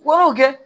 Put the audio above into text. Wariw kɛ